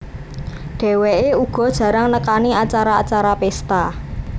Dheweké uga jarang nekani acara acara pesta